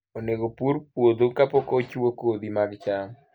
Onego opur puodho kapok ochwo kodhi mag cham.